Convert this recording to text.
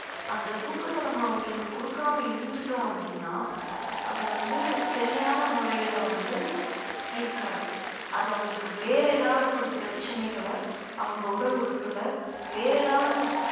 அந்த தூக்கத்தை நம்ம அவங்களுக்கு குடுக்காம இருந்துட்டோம் அப்படின்னா அது வந்து சரியான முறையில வந்து இருக்காது அது அவங்களுக்கு வேற ஏதாவது ஒரு பிரச்சனைகள அவங்க உடல் உறுப்புல வேற ஏதாவது ஒரு